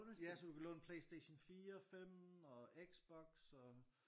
Ja så du kan låne Playstation 4 5 og Xbox og